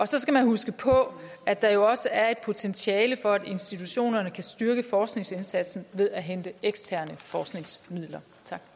så skal man huske på at der jo også er et potentiale for at institutionerne kan styrke forskningsindsatsen ved at hente eksterne forskningsmidler